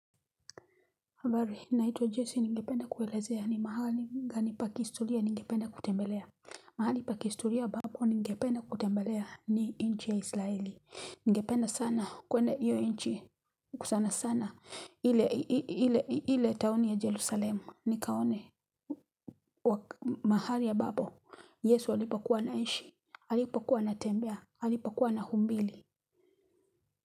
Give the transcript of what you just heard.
Naitwa Jesse ningependa kuelezea ni mahali gani pakistulia ningependa kutembelea mahali pa kihistoria ambapo ningependa kutembelea ni inchi ya israeli Ningependa sana kwenda hio inchi sana sana ile taoni ya jelusalemu nikaone mahali ambapo Yesu alipokua anishi alipokuwa ana tembea alipokuwa anahubiri.